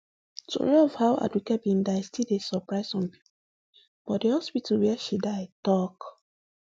tori of how aduke bin die still dey surprise some pipo but di hospital wia she die tok